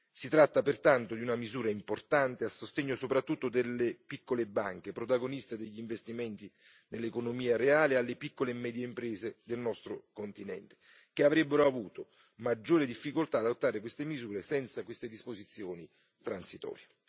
Si tratta pertanto di una misura importante a sostegno soprattutto delle piccole banche, protagoniste degli investimenti nell'economia reale, e delle piccole e medie imprese del nostro continente, che avrebbero avuto maggiori difficoltà ad adottare queste misure senza queste disposizioni transitorie.